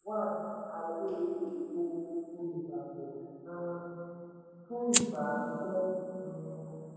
wà ní ààyè ètò olùgbapò um fún ìgbà pípẹ́ um.